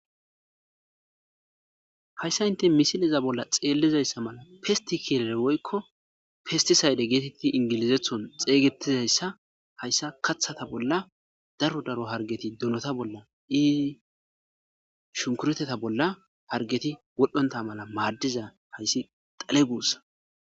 hayssa inte misileza bolla xeellizayssa mala fistikilee woykko fistisayde geetetti ingilizethon xeygetizayssa hayssa kathata bolla daro daro hargeti dunota bolla iii shunkureteta bolla hargeti wodhonta mala maaddiza hayssi tale guussa